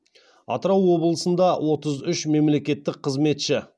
атырау облысында отыз үш мемлекеттік қызметші